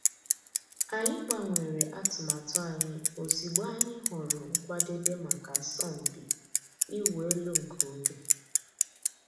Ànyị̀ gbànwèrè àtùmàtù ànyị̀ òzịgbọ̀ ànyị̀ hụ̀rù nkwàdèbè mǎká àsọ̀mpị ị̀wụ̀ èlù nke ògè.